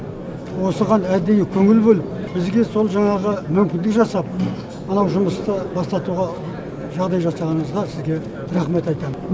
осыған әдейі көңіл бөліп бізге сол жаңағы мүмкіндік жасап мынау жұмысты бастатуға жағдай жасағаныңызға сізге рахмет айтамын